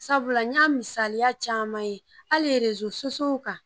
Sabula n y'a misaliya caman ye ali erozo sosiyow kan